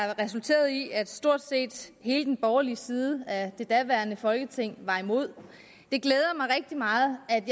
resulterede i at stort set hele den borgerlige side af det daværende folketing var imod det glæder mig rigtig meget at